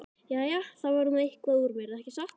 Jæja, það varð nú eitthvað úr mér, ekki satt?